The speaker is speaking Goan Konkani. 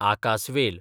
आकासवेल